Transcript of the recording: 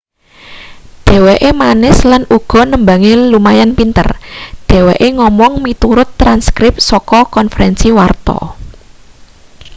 dheweke manis lan uga nembange lumayan pinter dheweke ngomong miturut transkrip saka konferensi warta